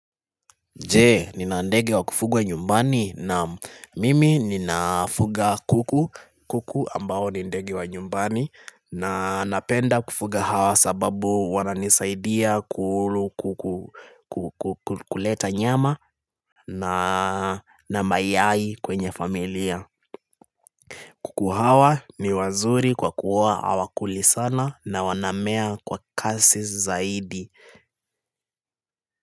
Je, nina ndege wa kufugwa nyumbani naam mimi ninafuga kuku, kuku ambao ni ndege wa nyumbani na napenda kufuga hawa sababu wananisaidia kuleta nyama na mayai kwenye familia. Kuku hawa ni wazuri kwa kuwa hawakuli sana na wanamea kwa kasi zaidi.